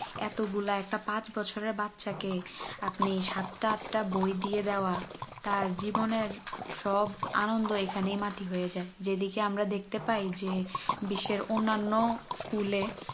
এতো গুলো একটা পাঁচ বছরে বাচ্চা কে আপনি সাতটা আটটা বই দিয়ে দেওয়া তার জীবনের সব আনন্দ এখানেই মাটি হয়ে যাই যেদিকে আমরা দেখতে পাই যে বিশ্বের অন্যান্য school এ